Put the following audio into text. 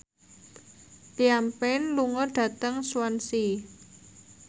Liam Payne lunga dhateng Swansea